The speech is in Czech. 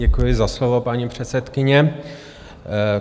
Děkuji za slovo, paní předsedkyně.